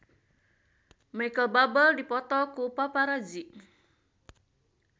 Micheal Bubble dipoto ku paparazi